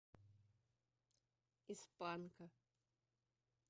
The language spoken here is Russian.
из панка